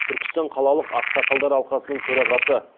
түркістан қалалық ақсақалдар алқасының төрағасы